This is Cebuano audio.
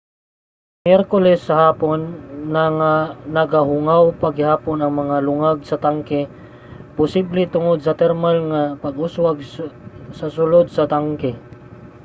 sa miyerkules sa hapon nagahungaw pa gihapon ang mga lungag sa tangke posible tungod sa thermal nga pag-uswag sa sulod sa tangke